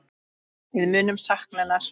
Við munum sakna hennar.